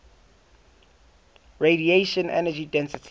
radiation energy density